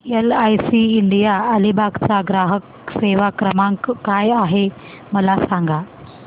LIC India Alibag चा ग्राहक सेवा क्रमांक काय आहे मला सांगा